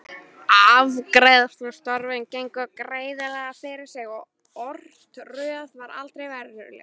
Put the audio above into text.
Afgreiðslustörfin gengu greiðlega fyrir sig og örtröð var aldrei veruleg.